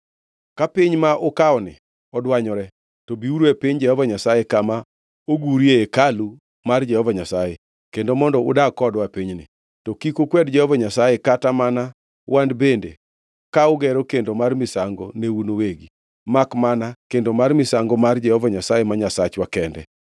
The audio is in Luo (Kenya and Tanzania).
Ka piny ma ukawoni odwanyore, to biuru e piny Jehova Nyasaye, kama ogurie hekalu mar Jehova Nyasaye, kendo mondo udag kodwa e pinyni. To kik ukwed Jehova Nyasaye kata mana wan bende ka ugero kendo mar misango ne un uwegi, makmana kendo mar misango mar Jehova Nyasaye ma Nyasachwa kende.